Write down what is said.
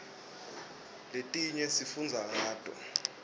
letinye sifundza ngato